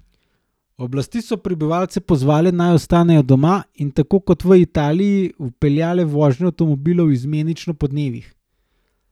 Oblasti so prebivalce pozvale, naj ostanejo doma, in, tako kot v Italiji, vpeljale vožnjo avtomobilov izmenično po dnevih.